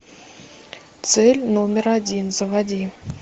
цель номер один заводи